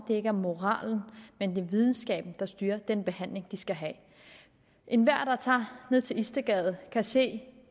det ikke er moralen men videnskaben der styrer den behandling de skal have enhver der tager ned til istedgade kan se